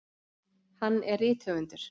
Hann er rithöfundur.